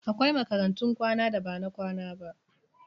Akwai makarantun kwana da ba na kwana ba.